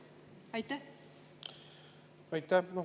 Aitäh!